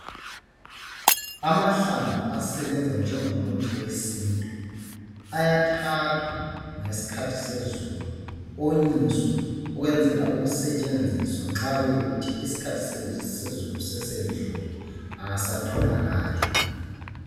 Amahlamvu asebenza njengomuthi wesintu ayathathwa ngesikhathi sezulu onyiswe ukwenzela ukusetshenziswa nxa kuyikuthi isiikhathi sezulu sesedlule awasatholakali